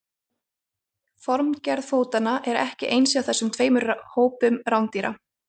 formgerð fótanna er ekki eins hjá þessum tveimur hópum rándýra